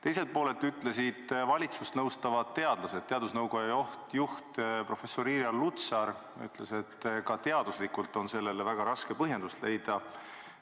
Teiselt poolt ütlesid valitsust nõustavad teadlased, näiteks teadusnõukoja juht professor Irja Lutsar, et ka teaduslikult on sellele väga raske põhjendust leida.